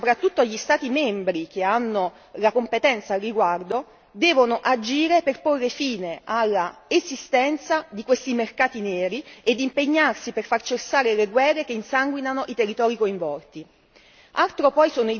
L'Unione europea, ma soprattutto gli Stati membri che hanno la competenza al riguardo devono agire per porre fine all'esistenza di questi mercati neri ed impegnarsi per far cessare le guerre che insanguinano i territori coinvolti.